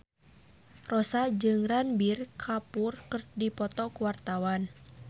Rossa jeung Ranbir Kapoor keur dipoto ku wartawan